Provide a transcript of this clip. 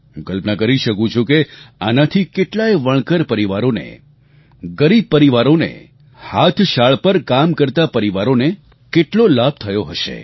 હું કલ્પના કરી શકું છું કે આનાથી કેટલાય વણકર પરિવારોને ગરીબ પરિવારોને હાથશાળ પર કામ કરતા પરિવારોને કેટલો લાભ થયો હશે